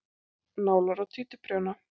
Nálar og títuprjóna.